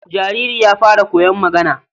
jariri ya fara koyon magana.